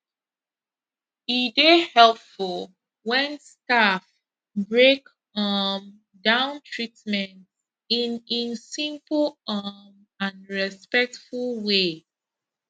e dey helpful when staff break um down treatment in in simple um and respectful way